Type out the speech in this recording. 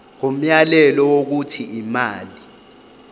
ngomyalelo wokuthi imali